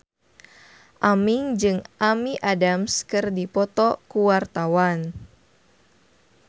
Aming jeung Amy Adams keur dipoto ku wartawan